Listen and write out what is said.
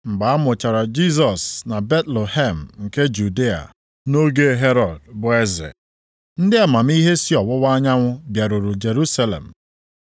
Mgbe a mụchara Jisọs na Betlehem nke Judịa nʼoge Herọd bụ eze, ndị amamihe si ọwụwa anyanwụ bịaruru Jerusalem,